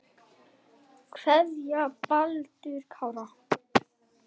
kveðja, Baldur Kári.